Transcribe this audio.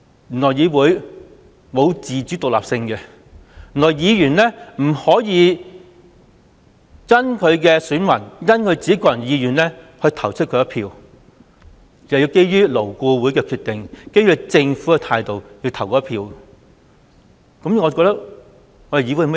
原來立法會沒有自主獨立性，原來議員不可以因應選民和個人的意願而進行表決，而是基於勞顧會的決定和政府的態度來進行表決。